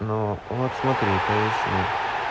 но вот смотри поясни